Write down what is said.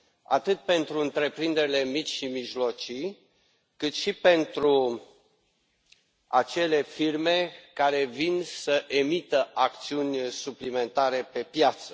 atât pentru întreprinderile mici și mijlocii, cât și pentru acele firme care vin să emită acțiuni suplimentare pe piață.